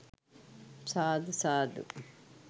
සාදු සාදු